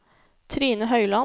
Trine Høyland